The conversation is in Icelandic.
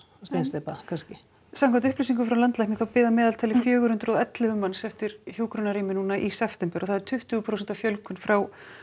steinsteypa kannski samkvæmt upplýsingum frá landlækni þá bíða að meðaltali fjögur hundruð og ellefu manns eftir hjúkrunarrými núna í september og það er tuttugu prósent fjölgun frá